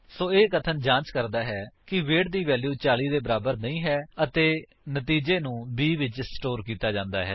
ਸੋ ਇਹ ਕਥਨ ਜਾਂਚ ਕਰਦਾ ਹੈ ਕਿ ਵੇਟ ਦੀ ਵੈਲਿਊ 40 ਦੇ ਬਰਾਬਰ ਨਹੀਂ ਹੈ ਅਤੇ ਨਤੀਜਾ ਨੂੰ b ਵਿੱਚ ਸਟੋਰ ਕੀਤਾ ਜਾਂਦਾ ਹੈ